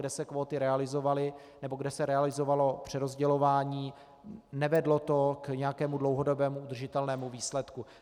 Kde se kvóty realizovaly nebo kde se realizovalo přerozdělování, nevedlo to k nějakému dlouhodobě udržitelnému výsledku.